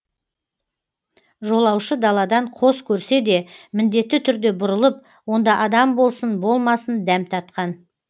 жолаушы даладан қос көрсе де міндетті түрде бұрылып онда адам болсын болмасын дәм татқан